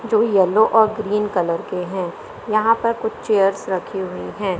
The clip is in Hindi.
जो येलो और ग्रीन कलर के हैं यहां पर कुछ चेयर्स रखी है।